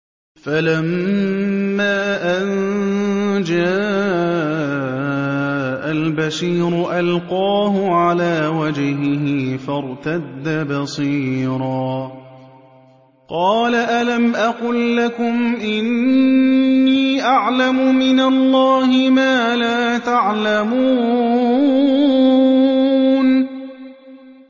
فَلَمَّا أَن جَاءَ الْبَشِيرُ أَلْقَاهُ عَلَىٰ وَجْهِهِ فَارْتَدَّ بَصِيرًا ۖ قَالَ أَلَمْ أَقُل لَّكُمْ إِنِّي أَعْلَمُ مِنَ اللَّهِ مَا لَا تَعْلَمُونَ